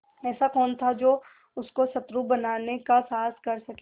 ऐसा कौन था जो उसको शत्रु बनाने का साहस कर सके